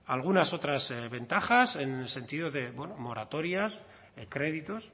algunas otras ventajas en el sentido de bueno moratorias créditos